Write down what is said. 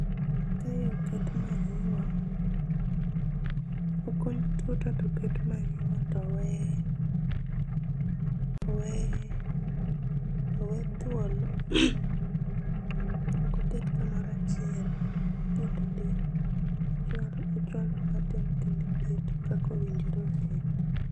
Kae oket manyiwa , okuny tuta toket manyiwa towe owe owe thuolo ok oket kumoro achiel iketo ti kakowinjore opidh